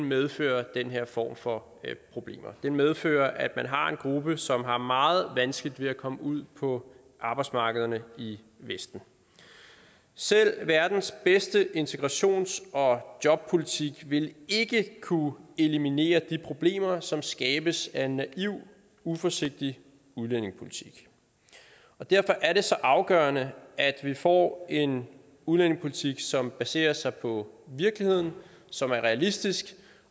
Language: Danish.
medfører den her form for problemer den medfører at man har en gruppe som har meget vanskeligt ved at komme ud på arbejdsmarkederne i vesten selv verdens bedste integrations og jobpolitik vil ikke kunne eliminere de problemer som skabes af en naiv uforsigtig udlændingepolitik derfor er det så afgørende at vi får en udlændingepolitik som baserer sig på virkeligheden som er realistisk